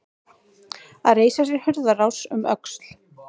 Að reisa sér hurðarás um öxl